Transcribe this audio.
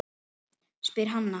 spyr Hanna.